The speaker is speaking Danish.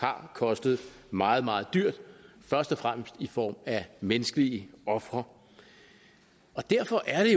har kostet meget meget dyrt først og fremmest i form af menneskelige ofre og derfor er